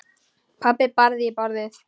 Pabbi barði í borðið.